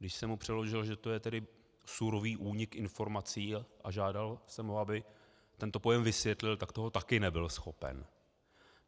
Když jsem mu přeložil, že to je tedy surový únik informací, a žádal jsem ho, aby tento pojem vysvětlil, tak toho taky nebyl schopen.